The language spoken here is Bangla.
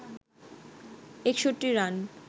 ৬১ রান